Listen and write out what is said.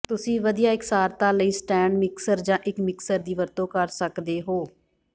ਤੁਸੀਂ ਵਧੀਆ ਇਕਸਾਰਤਾ ਲਈ ਸਟੈਂਡ ਮਿਕਸਰ ਜਾਂ ਇੱਕ ਮਿਕਸਰ ਦੀ ਵਰਤੋਂ ਕਰ ਸਕਦੇ ਹੋ